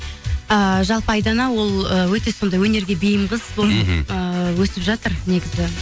ыыы жалпы айдана ол ы өте сондай өнерге бейім қыз мхм ыыы өсіп жатыр негізі